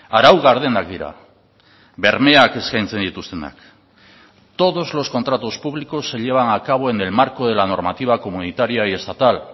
arau gardenak dira bermeak eskaintzen dituztenak todos los contratos públicos se llevan a cabo en el marco de la normativa comunitaria y estatal